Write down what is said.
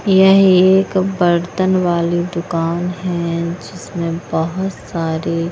यह एक बर्तन वाली दुकान है जिसमें बहुत सारी--